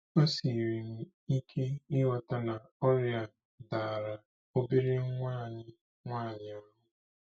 O siiri m ike ịghọta na ọrịa a dara obere nwa anyị nwanyị ahụ́.